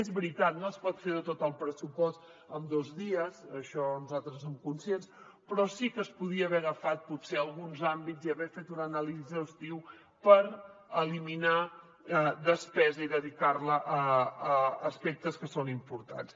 és veritat no es pot fer tot el pressupost en dos dies d’això nosaltres en som conscients però sí que es podien haver agafat potser alguns àmbits i haver fet una anàlisi exhaustiva per eliminar despesa i dedicar la a aspectes que són importants